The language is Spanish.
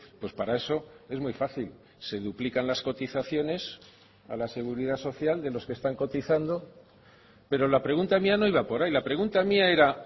pues para eso es muy fácil se duplican las cotizaciones a la seguridad social de los que están cotizando pero la pregunta mía no iba por ahí la pregunta mía era